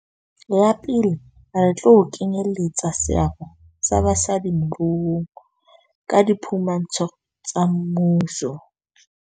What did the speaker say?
Ya pele, re tlo kenyeletsa seabo sa basadi moruong ka diphu mantsho tsa mmuso.